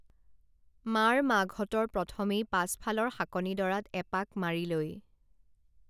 মাৰ মাকহঁতৰ প্ৰথমেই পাছফালৰ শাকনিডৰাত এপাক মাৰি লৈ